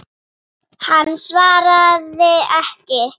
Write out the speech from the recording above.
Hann svaraði ekki.